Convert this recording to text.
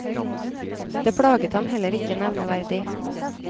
Det plaget ham heller ikke nevneverdig.